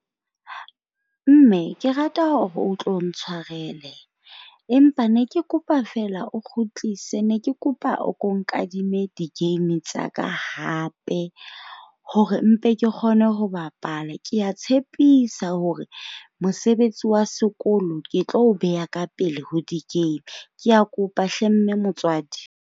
Mme ke rata hore o tlo ntshwarele. Empa ne ke kopa feela o kgutlise, ne ke kopa o ko nkadime di-game tsa ka hape hore mpe ke kgone ho bapala. Kea tshepisa hore mosebetsi wa sekolo ke tlo o beha ka pele ho di-game. Kea kopa hle mme motswadi.